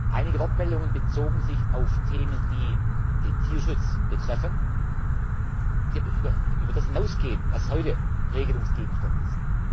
Einige Wortmeldungen bezogen sich auf Themen, die aber den Tierschutz betreffen, die über das hinausgehen, was heute Regelungsgegenstand ist.